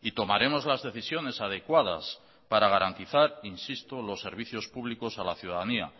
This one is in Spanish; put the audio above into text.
y tomaremos las decisiones adecuadas para garantizar insisto los servicios públicos a la ciudadanía